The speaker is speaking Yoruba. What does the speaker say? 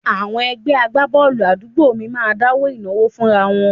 Àwọn ẹgbẹ́ agbábọ́ọ̀lù àdúgbò mi máa ń dáwó ìnáwó fúnra wọn